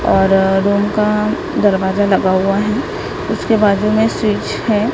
और रूम का दरवाजा लगा हुआ है उसके बाजू में स्विच है।